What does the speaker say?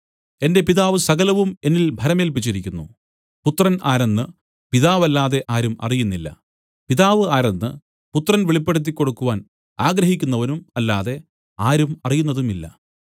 എന്റെ പിതാവ് സകലവും എന്നിൽ ഭരമേല്പിച്ചിരിക്കുന്നു പുത്രൻ ആരെന്ന് പിതാവല്ലാതെ ആരും അറിയുന്നില്ല പിതാവ് ആരെന്ന് പുത്രനും പുത്രൻ വെളിപ്പെടുത്തിക്കൊടുക്കുവാൻ ആഗ്രഹിക്കുന്നവനും അല്ലാതെ ആരും അറിയുന്നതുമില്ല